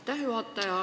Aitäh, juhataja!